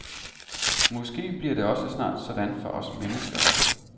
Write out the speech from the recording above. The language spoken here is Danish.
Måske bliver det også snart sådan for os mennesker.